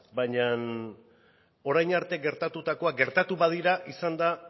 baina orain arte gertatutakoa gertatu badira izan da